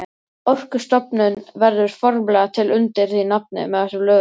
Orkustofnun verður formlega til undir því nafni með þessum lögum.